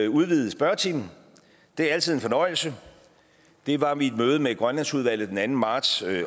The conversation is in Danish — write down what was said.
udvidet spørgetime det er altid en fornøjelse det var mit møde med grønlandsudvalget den anden marts